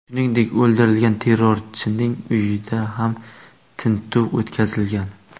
Shuningdek, o‘ldirilgan terrorchining uyida ham tintuv o‘tkazilgan.